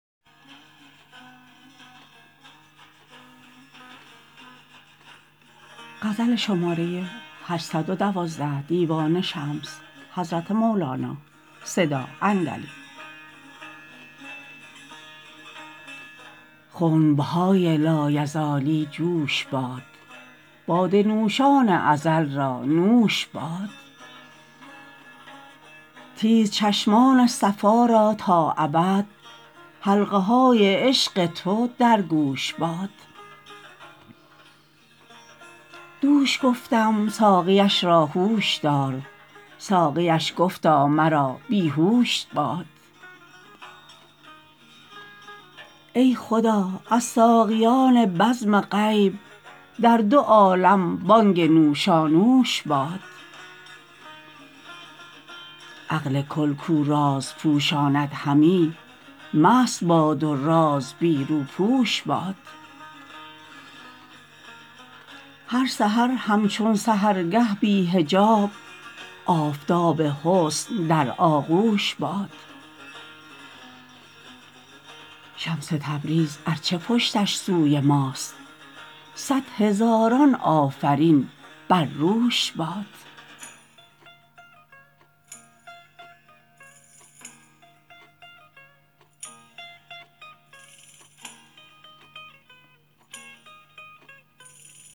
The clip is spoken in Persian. خنب های لایزالی جوش باد باده نوشان ازل را نوش باد تیزچشمان صفا را تا ابد حلقه های عشق تو در گوش باد دوش گفتم ساقیش را هوش دار ساقیش گفتا مرا بی هوش باد ای خدا از ساقیان بزم غیب در دو عالم بانگ نوشانوش باد عقل کل کو راز پوشاند همی مست باد و راز بی روپوش باد هر سحر همچون سحرگه بی حجاب آفتاب حسن در آغوش باد شمس تبریز ار چه پشتش سوی ماست صد هزاران آفرین بر روش باد